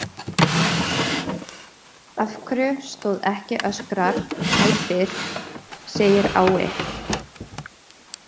Af hverju stóð ekki öskrar, æpir, segir á- i?